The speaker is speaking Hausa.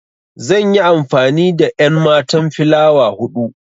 Zan yi amfani da enmatan filawa hudu.